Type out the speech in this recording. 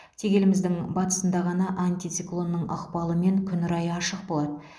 тек еліміздің батысында ғана антициклонның ықпалымен күн райы ашық болады